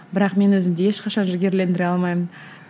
бірақ мен өзімді ешқашан жігерлендіре алмаймын